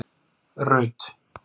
Rut